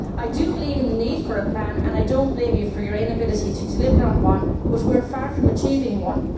I believe in the need for a plan, and I do not blame you for your inability to deliver on one, but we are far from achieving one.